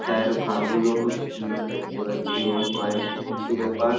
চা এর ভাঁড়গুলো খুব সুন্দর দেখতে পাচ্ছি এবং কয়েকটি টিসু পেপার।